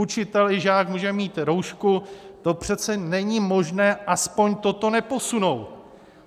Učitel i žák může mít roušku, to přece není možné aspoň toto neposunout.